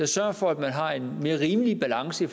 sørger for at man har en mere rimelig balance i